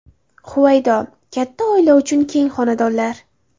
Huvaydo: Katta oila uchun keng xonadonlar.